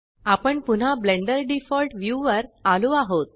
आपण पुन्हा Blender default view वर आलो आहोत